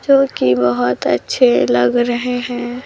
जोकि बहोत अच्छे लग रहे है।